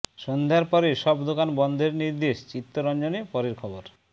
সন্ধ্যার পরে সব দোকান বন্ধের নির্দেশ চিত্তরঞ্জনে পরের খবর